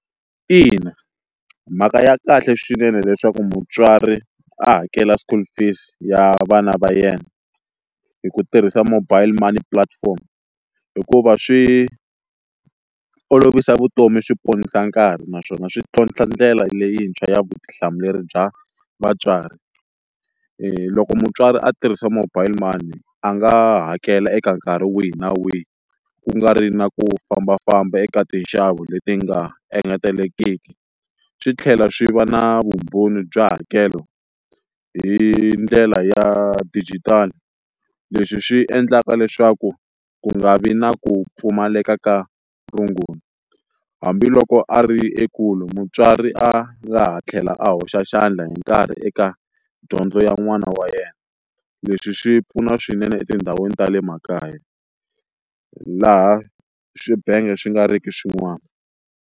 Ina mhaka ya kahle swinene leswaku mutswari a hakela school fees ya vana va yena hi ku tirhisa mobile money platform hikuva swi olovisa vutomi swi ponisa nkarhi naswona swi tlhontlha ndlela leyintshwa ya vutihlamuleri bya vatswari, loko mutswari a tirhisa mobile money a nga hakela eka nkarhi wihi na wihi ku nga ri na ku fambafamba eka tinxavo leti nga engetelekiki swi tlhela swi va na vumbhoni bya hakelo hi ndlela ya digital, leswi swi endlaka leswaku ku nga vi na ku pfumaleka ka rungula hambiloko a ri ekule mutswari a nga ha tlhela a hoxa xandla hi nkarhi eka dyondzo ya n'wana wa yena, leswi swi pfuna swinene etindhawini ta le makaya laha swibenge swi nga ri ki swin'wana.